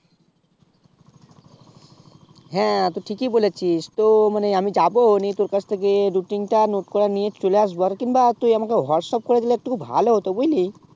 হ্যাঁ তুই ঠিকই বলেছিস তো মানে আমি যাবো নিয়ে তোর কাছ থেকে ruting টা note কটা নিয়ে চলে আসবো আর কিংবা তুই আমাকে whatsapp করে দিলে একটুকু ভালো হতো বুজলি